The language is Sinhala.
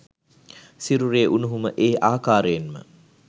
සිරුරේ උණුහුම ඒ ආකාරයෙන්ම